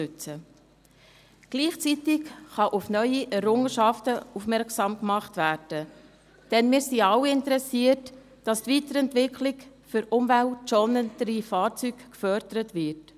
Andererseits kann gleichzeitig auf neue Errungenschaften aufmerksam gemacht werden, denn wir alle sind daran interessiert, dass die Weiterentwicklung für umweltschonendere Fahrzeuge gefördert wird.